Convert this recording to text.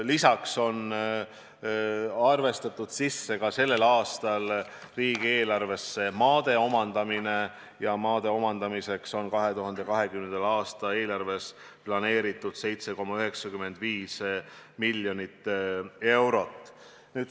Lisaks on selleks aastaks arvestatud riigieelarvesse sisse ka maade omandamine ja maade omandamiseks on 2020. aasta eelarvesse planeeritud 7,95 miljonit eurot.